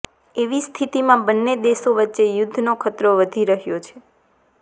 એવી સ્થિતિમાં બંને દેશો વચ્ચે યુદ્ધનો ખતરો વધી રહ્યો છે